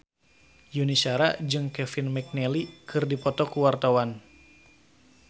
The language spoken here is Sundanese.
Yuni Shara jeung Kevin McNally keur dipoto ku wartawan